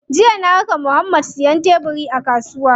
Jiya na raka Muhammad siyan tebiri a kasuwa.